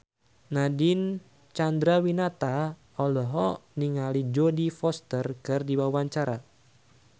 Nadine Chandrawinata olohok ningali Jodie Foster keur diwawancara